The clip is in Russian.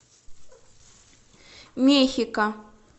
мехико